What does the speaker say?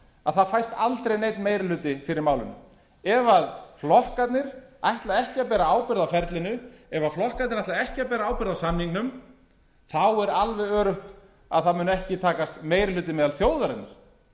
að það fæst aldrei neinn meiði ætti fyrir málinu ef flokkarnir ætla ekki að bera ábyrgð á ferlinu ef flokkarnir ætla ekki að bera ábyrgð á samningnum þá er alveg öruggt að það mun ekki takast meiri hluti meðal þjóðarinnar